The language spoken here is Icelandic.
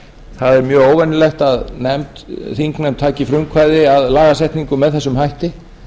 það er mjög óvenjulegt að þingnefnd taki frumkvæði að lagasetningu með þessum hætti